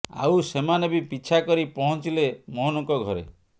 ଆଉ ସେମାନେ ବି ପିଛା କରି ପହଞ୍ଚିଲେ ମୋହନଙ୍କ ଘରେ